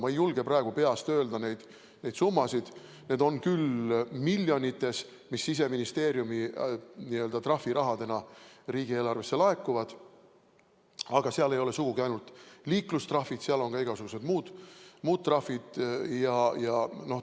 Ma ei julge praegu peast öelda neid summasid, need on küll miljonites, mis Siseministeeriumi trahvirahana riigieelarvesse laekuvad, aga seal ei ole sugugi ainult liiklustrahvid, seal on igasugused muud trahvid ka.